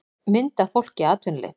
mynd af fólki í atvinnuleit